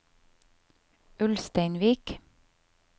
Ulsteinvik